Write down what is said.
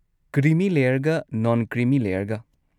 Creamy ꯂꯦꯌꯔꯒ ꯅꯣꯟ-ꯀ꯭ꯔꯤꯃꯤ ꯂꯦꯌꯔꯒ꯫